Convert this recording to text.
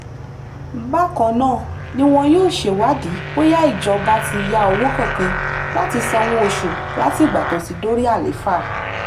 bákan náà ni wọn yóò ṣèwádìí bóyá ìjọba ti ya owó kankan láti sanwó oṣù látìgbà tó ti dorí àlééfà